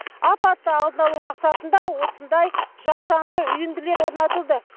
апатты алдын алу мақсатында осындай жасанды үйінділер орнатылды